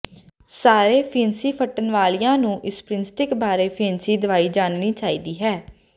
ਸਾਰੇ ਫਿਣਸੀ ਫੱਟਣ ਵਾਲਿਆਂ ਨੂੰ ਇਸ ਪ੍ਰਿੰਸਟ੍ਰਕ ਬਾਰੇ ਫਿਣਸੀ ਦਵਾਈ ਜਾਣਨੀ ਚਾਹੀਦੀ ਹੈ